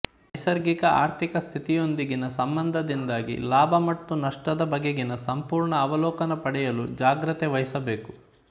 ನೈಸರ್ಗಿಕ ಆರ್ಥಿಕ ಸ್ಥಿತಿಯೊಂದಿಗಿನ ಸಂಬಂಧದಿಂದಾಗಿ ಲಾಭ ಮತ್ತು ನಷ್ಟದ ಬಗೆಗಿನ ಸಂಪೂರ್ಣ ಅವಲೋಕನ ಪಡೆಯಲು ಜಾಗೃತೆವಹಿಸಬೇಕು